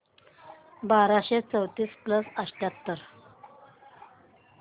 बाराशे चौतीस प्लस अठ्याहत्तर